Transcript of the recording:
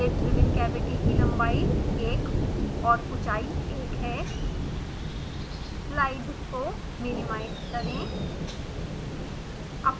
lid driven cavity की लम्बाई 1 और ऊँचाई 1 है स्लाइड को मिनिमाइज़ करें